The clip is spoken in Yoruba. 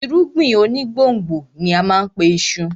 Irúgbìn onígbòǹgbò ni á má a pe iṣu